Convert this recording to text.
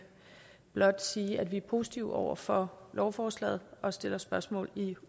blot sige at vi er positive over for lovforslaget og stiller spørgsmål i